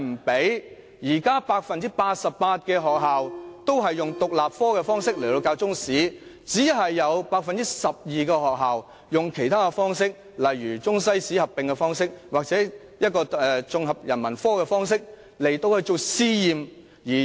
現時 88% 的學校均以獨立科的方式教授中史，只有 12% 的學校採用其他方式，例如以中西史合併或綜合人文科的方式作為試驗。